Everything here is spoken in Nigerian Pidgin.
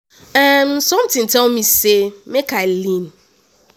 um sometin tell me say make i lean.